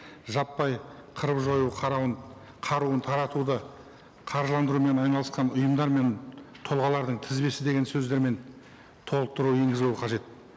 жаппай қырып жою қаруын таратуды қаржыландырумен айналысқан ұйымдар мен тұлғалардың тізбесі деген сөздермен толықтыру енгізілуі қажет